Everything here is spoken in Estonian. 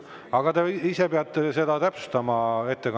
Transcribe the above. Aga te ise peate seda ettekandjaga täpsustama.